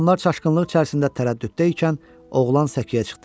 Adamlar çaşqınlıq içərisində tərəddüddə ikən, oğlan səkiyə çıxdı.